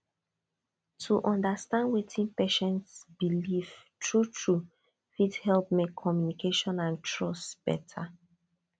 to understand wetin patient believe truetrue fit help make communication and trust better